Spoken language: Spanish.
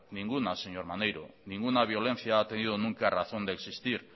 ninguna señor maneiro ninguna violencia ha tenido nunca razón de existir